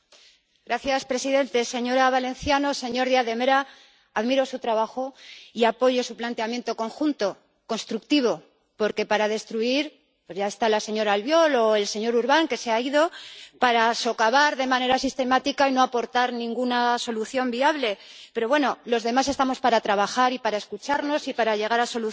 Señor presidente, señora Valenciano, señor Díaz de Mera, admiro su trabajo y apoyo su planteamiento conjunto, constructivo, porque para destruir ya están la señora Albiol o el señor Urbán —que se ha ido—, para socavar de manera sistemática y no aportar ninguna solución viable. Pero los demás estamos para trabajar y para escucharnos y para llegar a soluciones.